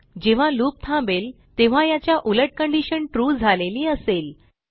जेव्हा लूप थांबेल तेव्हा याच्या उलट कंडिशन ट्रू झालेली असेल